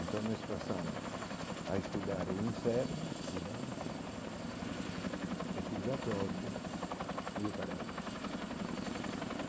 Então nós passamos a estudar o inferno de Dante, o purgatório e o paraíso.